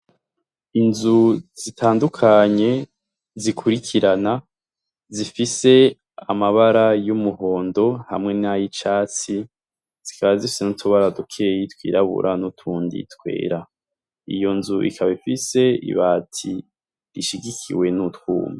Inzu zitandukanye zikurikirana, zifise amabara y'umuhondo; hamwe n'ay'icatsi, zikaba zifise n'utubara dukeyi twirabura n'utundi twera. Iyo nzu ikaba ifise ibati ishigikiwe n'utwuma.